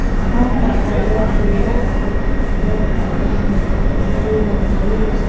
खंभा का colour yellow और ब्लैक कलर में दिखाई दे रहा है।